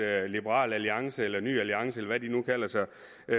at liberal alliance eller ny alliance eller hvad de nu kalder sig